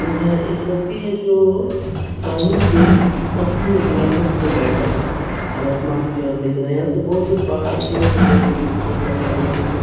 यह एक व्यक्ति है जो पानी पे पत्थर निकला है उसपे बैठा हुआ और आसमान की ओर देख रहा है यहाँ से बहुत दूर पहाड़ भी है जो बहुत ही खूबसूरत लग रहा है‌ देखने में।